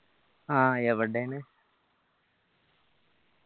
ആ എവിടേണ്